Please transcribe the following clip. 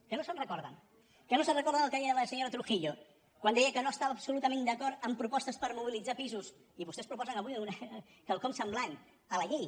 que no se’n recorden que no se’n recorden del que deia la senyora trujillo quan deia que no estava absolutament d’acord amb propostes per mobilitzar pisos i vostès proposen avui quelcom semblant a la llei